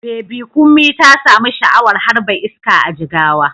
Baby Kunmi ta samu sha'awar harba iska a Jigawa.